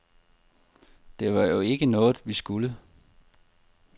Det var jo ikke noget, vi skulle.